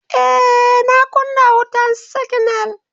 Ee, na kuna wutan siginal.